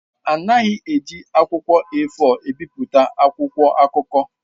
A naghị eji akwụkwọ A4 ebipụta akwụkwọ akụkọ.